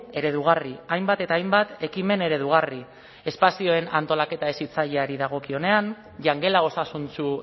eredugarri hainbat eta hainbat ekimen eredugarri espazioen antolaketa hezitzaileari dagokionean jangela osasuntsu